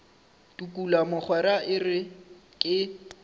tukula mogwera e re ke